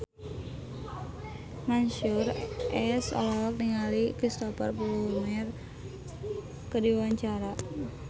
Mansyur S olohok ningali Cristhoper Plumer keur diwawancara